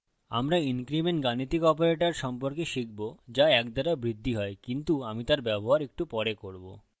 আমরা increment বৃদ্ধি গাণিতিক operator সম্পর্কে শিখব যা ১ দ্বারা বৃদ্ধি হয় কিন্তু আমি তার ব্যবহার একটু পরে করব